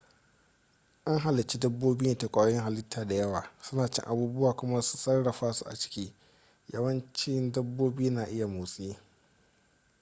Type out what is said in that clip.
an halici dabobi ne ta kwayoyin hallita dayawa suna cin abubuwa kuma su sarrafa su a ciki yawanci dabobi na iya motsi